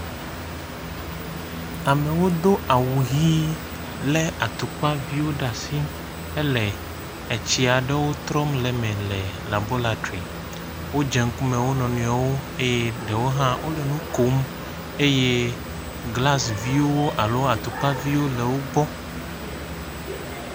Amewo do awu ʋɛ̃ lé atukpaviwo ɖe asi hele etsi aɖewo trɔm le me le labɔratri. Wodze ŋkume wo nɔ nɔewo eye ɖewo hã wole nu kom, eye glas viwo alo atukpa viwo le wo gbɔ.